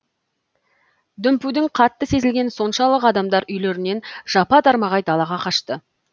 дүмпудің қатты сезілгені соншалық адамдар үйлерінен жапа тармағай далаға қашты